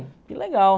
Que legal.